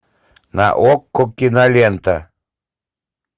на окко кинолента